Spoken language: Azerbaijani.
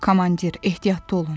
Komandir, ehtiyatlı olun.